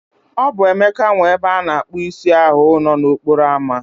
O bụ Emeka nwe ebe ana akpu isi ahu nọ n'okporo ámá